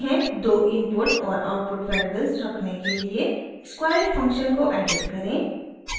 दो इनपुट और output variables रखने के लिए squareit फंक्शन को एडिट रखें